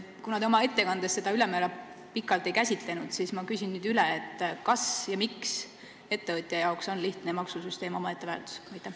Kuna te oma ettekandes seda ülemäära pikalt ei käsitlenud, siis ma küsin nüüd üle: kas ja miks on ettevõtjale lihtne maksusüsteem omaette väärtus?